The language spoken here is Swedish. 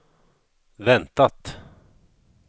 väntat